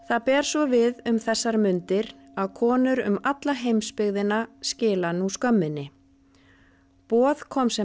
það ber svo við um þessar mundir að konur um alla heimsbyggðina skila nú skömminni boð kom sem